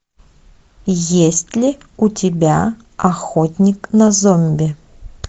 есть ли у тебя охотник на зомби